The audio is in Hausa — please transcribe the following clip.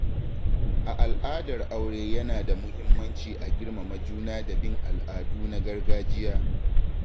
A al'adar aure yana da muhimmanci a girmama juna da bin al'adu na gargajiya.